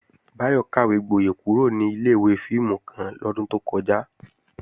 Báyọ̀ kàwégboyẹ̀ kúrò ní ilé-ìwé fíìmù kan lọ́dún tó kọjá